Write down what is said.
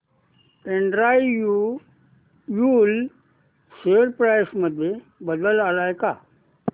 Andrew Yule share price मध्ये बदल आलाय का